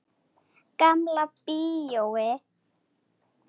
Gamla bíói.